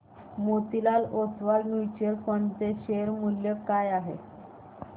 Motilal Oswal mutual fund चे share मूल्य काय आहे सांगा